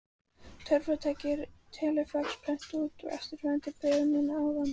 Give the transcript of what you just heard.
Töfratækið telefax prentaði út úr sér eftirfarandi bréf núna áðan.